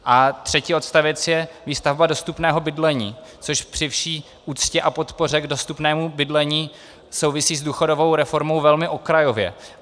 A třetí odstavec je výstavba dostupného bydlení, což při vší úctě a podpoře k dostupnému bydlení souvisí s důchodovou reformou velmi okrajově.